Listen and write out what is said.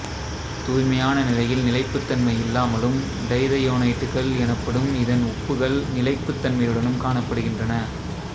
தூய்மையான நிலையில் நிலைப்புத்தன்மை இல்லாமலும் டைதயோனைட்டுகள் எனப்படும் இதன் உப்புகள் நிலைப்புத்தன்மையுடனும் காணப்படுகின்றன